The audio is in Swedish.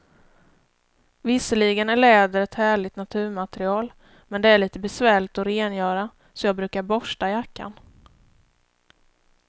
Visserligen är läder ett härligt naturmaterial, men det är lite besvärligt att rengöra, så jag brukar borsta jackan.